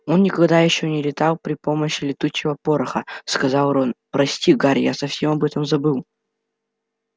он никогда ещё не летал при помощи летучего пороха сказал рон прости гарри я совсем об этом забыл